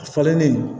A falennen